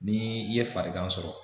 Ni i ye farigan sɔrɔ